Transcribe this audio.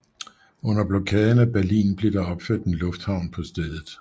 Under blokaden af Berlin blev der opført en lufthavn på stedet